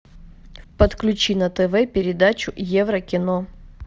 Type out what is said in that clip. подключи на тв передачу еврокино